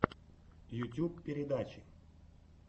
ютьюб передачи